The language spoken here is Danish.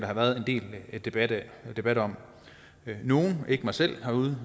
har været en del debat debat om nogle ikke mig selv har